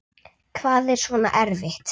Hvað er svona erfitt?